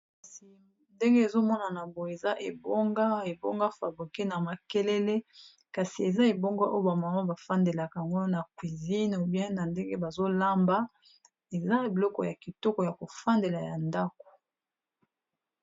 Kasi ndenge ezomonana boye eza ebonga ebonga fabriqe na makelele kasi eza ebonga oyo ba mama ba fandelaka ango na cuisine obien na ndenge bazolamba eza biloko ya kitoko ya kofandela ya ndako.